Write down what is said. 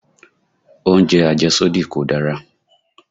Oúnjẹ àjẹ́sódì kò dára